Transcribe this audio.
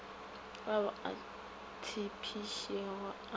ao a tshepišitšwego a sa